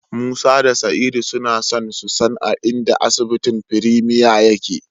Musa da Sa'idu suna so su san a inda asibitin Premier yake.